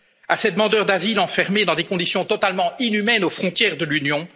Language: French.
un fil à ces demandeurs d'asile enfermés dans des conditions totalement inhumaines aux frontières de